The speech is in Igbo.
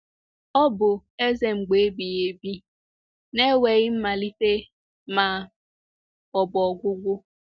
Ọ bụ“ Eze mgbe ebighị ebi ”— na e nweghị mmalite ma ọ bụ ọgwụgwụ.